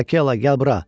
Akela, gəl bura.